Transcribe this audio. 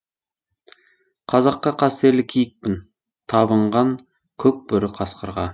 қазаққа қастерлі киікпін табынған көк бөрі қасқырға